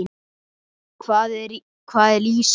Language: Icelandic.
Hvað er lýsi?